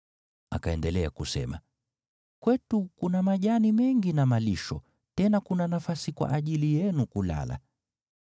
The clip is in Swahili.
Akaendelea kusema, “Kwetu kuna majani mengi na malisho, tena kuna nafasi kwa ajili yenu kulala.”